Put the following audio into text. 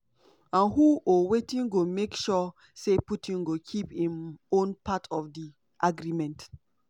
"and who or wetin go make sure say putin go keep im own part of di agreement?"